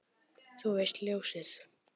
Þú veist, ljósið